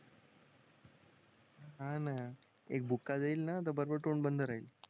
हा ना एक बुक्का देईल ना तर बरोबर तोंड बंद राहील